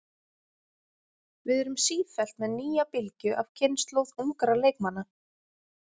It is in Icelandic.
Við erum sífellt með nýja bylgju af kynslóð ungra leikmanna.